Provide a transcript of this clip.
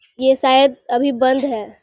ये शायद अभी बंद है।